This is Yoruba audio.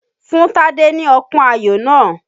Fún Tádé ní ọpọ́n ayò náà!